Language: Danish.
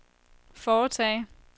foretage